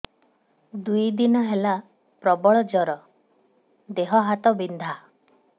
ଦୁଇ ଦିନ ହେଲା ପ୍ରବଳ ଜର ଦେହ ହାତ ବିନ୍ଧା